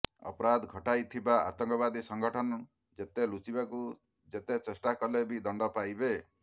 ଅପରାଧ ଘଟାଇଥିବା ଆତଙ୍କବାଦୀ ସଂଗଠନ ଯେତେ ଲୁଚିବାକୁ ଯେତେ ଚେଷ୍ଟା କଲେ ବି ଦଣ୍ଡ ପାଇବେ